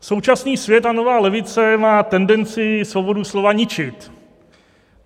Současný svět a nová levice má tendenci svobodu slova ničit.